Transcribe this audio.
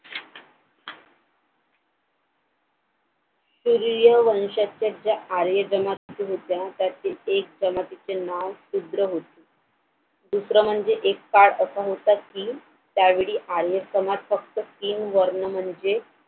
सूर्यवंशाच्या ज्या आर्य जनक होत्या त्या त्यातील एक जमातीचे नाव शूद्र होते दुसरं म्हणजे एक part असा होता कि त्यावेळी आर्य समाज फक्त तीन वर्ण म्हणजे